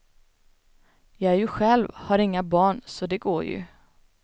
Jag är ju själv, har inga barn, så det går ju.